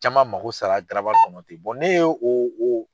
Caman mako sara garabali kɔnɔ ten n'e ye o o